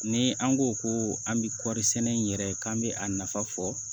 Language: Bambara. Ni an ko ko an bɛ kɔri sɛnɛ in yɛrɛ k'an bɛ a nafa fɔ